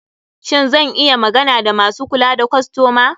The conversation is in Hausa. Shin zan iya magana da masu kula da kostoma?